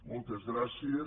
moltes gràcies